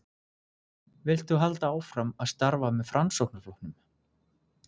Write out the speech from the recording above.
Vilt þú halda áfram að starfa með Framsóknarflokknum?